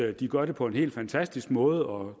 at de gør det på en helt fantastisk måde og